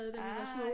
Da vi var små